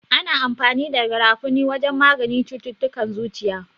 Ana amfani da garafuni wajen maganin cututtukan zuciya.